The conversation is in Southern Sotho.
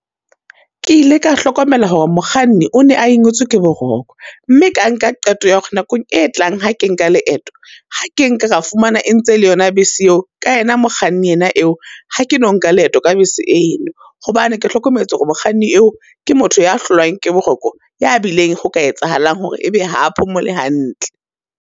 Ke ile ka hlokomela hore mokganni o ne a ingwetswe ke boroko, mme ka nka qeto ya hore nakong e tlang ha ke nka leeto, ha ke nka ka fumana e ntse e le yona bese eo, ka yena kganni ena eo, ha ke no nka leeto ka bese eno. Hobane ke hlokometse hore mokganni eo, ke motho ya hlolwang ke boroko, ya bileng ho ka etsahalang hore e be ha a phomole hantle.